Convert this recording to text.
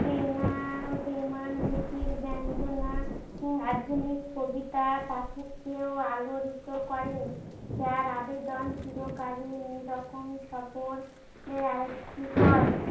audio স্পষ্ট নয়